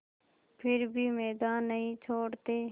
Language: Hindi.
फिर भी मैदान नहीं छोड़ते